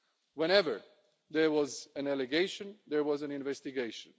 Whenever there was an allegation, there was an investigation.